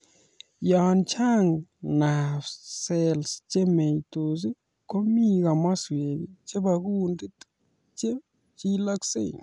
Yaa chang nerve cells chemeetos komii kimaswek chebaa kundit che chilaksei